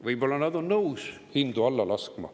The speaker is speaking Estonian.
Võib-olla nad on nõus hindu alla laskma.